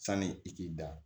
Sani i k'i da